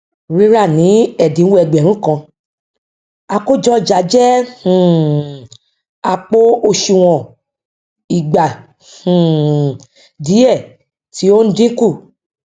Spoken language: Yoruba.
rírà ni ẹdínwó ẹgbẹrun kan àkójọ ọjà jẹ um àpò òsùnwọn ìgba um diẹ tí o n dínkù